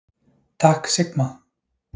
Takk Sigma.